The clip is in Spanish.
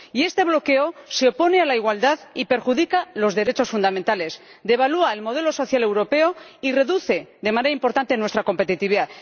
Este bloqueo se opone a la igualdad y perjudica los derechos fundamentales, devalúa el modelo social europeo y reduce de manera importante nuestra competitividad.